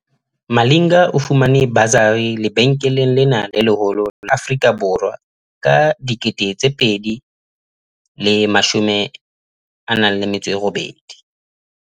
Malinga o fumane basari lebenkeleng lena le leholo la Afrika Borwa ka 2018.